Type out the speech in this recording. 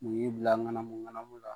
Mun y'i bila ŋanamun-ŋanamu la?